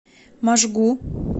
можгу